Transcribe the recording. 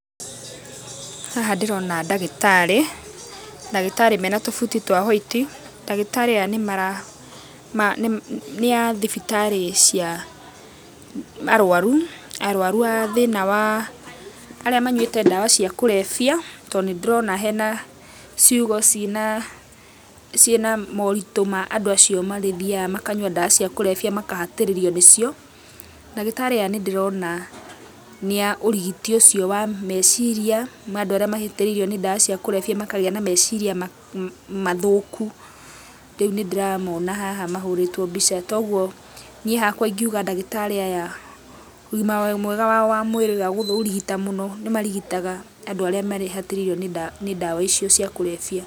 Haha nĩ ndĩrona ndagĩtarĩ mena tũbuti twa white. Ndagĩtarĩ aya nĩ a thibitarĩ cia arũaru.Arũaru arĩa manyuĩte ndawa cia kũrebia, tondũ nĩndĩrona hena ciugo ciĩ na moritũ ma andũ acio magĩthiaga makanyua ndawa cia kũrebia makahatĩrĩrio nĩ cio. Ndagĩtarĩ aya nĩndĩrona nĩ a ũrigiti ũcio wa meciria ma andũ arĩa mahatĩrĩirio nĩ ndawa cia kũrebia makagĩa na meciria mathũku. Rĩu nĩndĩramona haha mahũrĩtwo mbica .Kogwo niĩ ingiuga ndagĩtarĩ aya, ũgima mwega wao wa mwĩrĩ wa kũrigita mũno nĩ marigitaga andũ arĩa mahatĩrĩirio nĩ ndawa icio cia kũrebia.